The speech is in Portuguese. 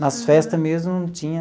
Nas festas mesmo não tinha...